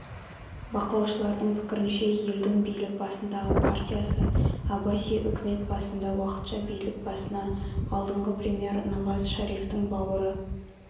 бақылаушылардың пікірінше елдің билік басындағы партиясы аббаси үкімет басында уақытша билік басына алдыңғы премьер наваз шарифтіңбауыры